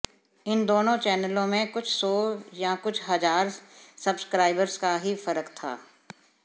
इन दोनों चैनलों में कुछ सौ या कुछ हजार सब्सक्राइबर्स का ही फर्क था